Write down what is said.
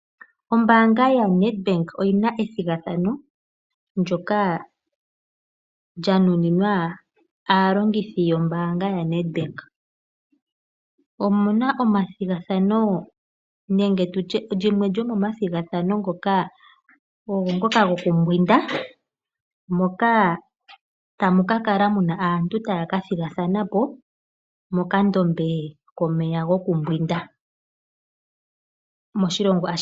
Ombaanga yaNedbank oyi na ethigathano ndyoka lya nuninwa aalongithi yombaanga yaNedbank. Limwe lyomomathigathano ngoka ogo ngoka gokumbwinda moka tamu ka kala mu na aantu taya ka thigathana po mokandombe komeya gokumbwinda moshilongo ashihe.